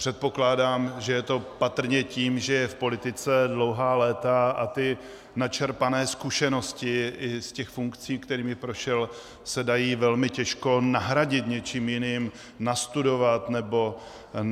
Předpokládám, že je to patrně tím, že je v politice dlouhá léta a ty načerpané zkušenosti i z funkcí, kterými prošel, se dají velmi těžko nahradit něčím jiným, nastudovat nebo tak.